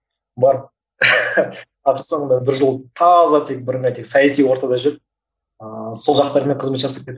барып ақыр соңында бір жыл таза тек бірыңғай тек саяси ортада жүріп ыыы сол жақтармен қызмет жасап кеттік